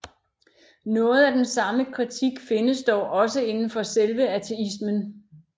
Noget af den samme kritik findes dog også inden for selve ateismen